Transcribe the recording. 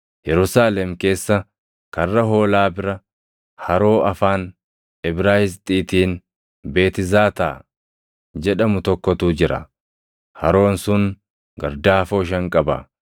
Yerusaalem keessa Karra Hoolaa bira haroo afaan Ibraayisxiitiin Beetizaataa jedhamu tokkotu jira; haroon sun gardaafoo shan qaba.